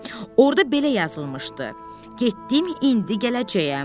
Orda belə yazılmışdı: Getdim, indi gələcəyəm.